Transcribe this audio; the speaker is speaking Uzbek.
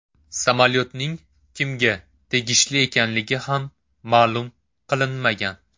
Samolyotning kimga tegishli ekanligi ham ma’lum qilinmagan.